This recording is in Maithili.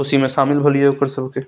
खुशी में शामिल भयलिओ ओकर सब के।